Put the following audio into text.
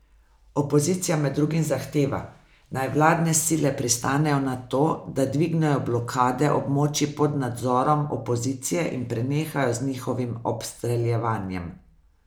Opozicija med drugim zahteva, naj vladne sile pristanejo na to, da dvignejo blokade območij pod nadzorom opozicije in prenehajo z njihovim obstreljevanjem.